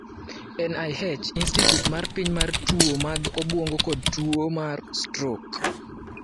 NIH: Institute mar Piny mar Tuwo mag Obwongo kod Tuwo mar Stroke